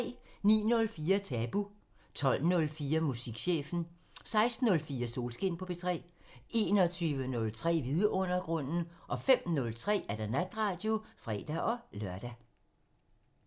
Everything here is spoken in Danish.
09:04: Tabu 12:04: Musikchefen 16:04: Solskin på P3 21:03: Vidundergrunden 05:03: Natradio (fre-lør)